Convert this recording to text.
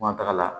F'an taga la